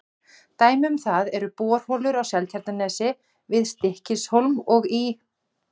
Dæmi um það eru borholur á Seltjarnarnesi, við Stykkishólm og í